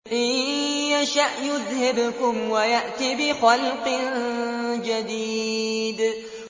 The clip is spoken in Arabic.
إِن يَشَأْ يُذْهِبْكُمْ وَيَأْتِ بِخَلْقٍ جَدِيدٍ